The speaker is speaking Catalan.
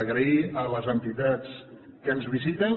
agrair a les entitats que ens visiten